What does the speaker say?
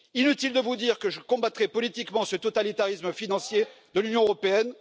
Inutile de vous dire que je combattrai politiquement ce totalitarisme financier de l'Union européenne.